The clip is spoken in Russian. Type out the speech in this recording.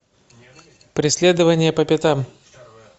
преследование по пятам